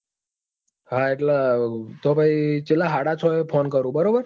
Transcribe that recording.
હા એટલે તો પછી સાડા છ એ phone કરું બરાબર?